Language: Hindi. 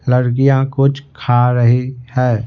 लड़कियां कुछ खा रही है।